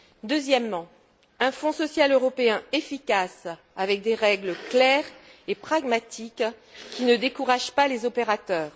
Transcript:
Deuxièmement, un Fonds social européen efficace avec des règles claires et pragmatiques qui ne décourage pas les opérateurs.